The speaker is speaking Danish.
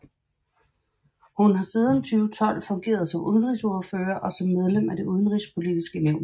Hun har siden 2012 fungeret som udenrigsordfører og som medlem af Det Udenrigspolitiske Nævn